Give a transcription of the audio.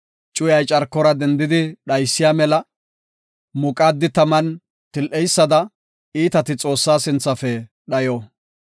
Cuyay carkora dendidi dhaysiya mela, muqaadi taman til7eysada, iitati Xoossaa sinthafe dhayo.